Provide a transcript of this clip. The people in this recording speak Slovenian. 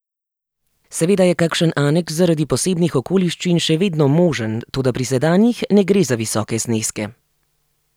Seveda je kakšen aneks zaradi posebnih okoliščin še vedno možen, toda pri sedanjih ne gre za visoke zneske.